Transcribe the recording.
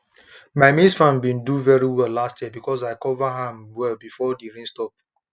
my maize farm been do very well last year because i cover am well before the rain stop